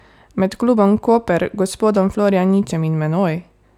Med klubom Koper, gospodom Florjaničem in menoj?